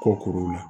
Kɔ kuruw la